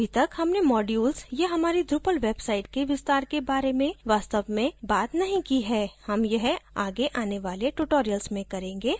अभी तक हमने modules या हमारी drupal website के विस्तार के बारे में वास्तव में बात नहीं की है हम यह आगे आने वाले tutorials में करेंगे